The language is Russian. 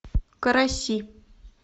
караси